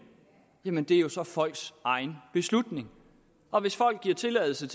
jamen det er så folks egen beslutning og hvis folk giver tilladelse